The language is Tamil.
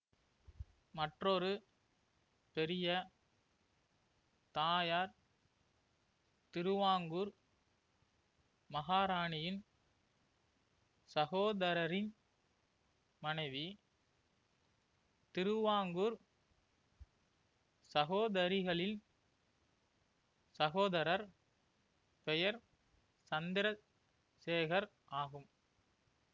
மற்றொரு பெரிய தாயார் திருவாங்கூர் மகாராணியின் சகோதரரின் மனைவி திருவாங்கூர் சகோதரிகளிள் சகோதரர் பெயர் சந்திர சேகர் ஆகும்